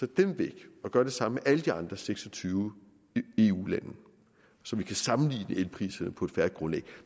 dem væk og gøre det samme med alle de andre seks og tyve eu lande så vi kan sammenligne elpriserne på et fair grundlag